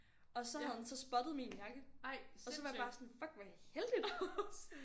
Og så havde han så spottet min jakke og så var jeg bare sådan fuck hvor er det heldigt